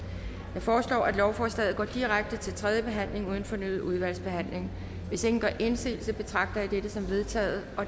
jeg foreslår at lovforslaget går direkte til tredje behandling uden fornyet udvalgsbehandling hvis ingen gør indsigelse betragter jeg dette som vedtaget